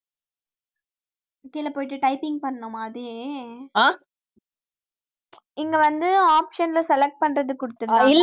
கீழே போயிட்டு typing பண்ணனுமா அதே இங்க வந்து option ல select பண்றது குடுத்துருக்கங்க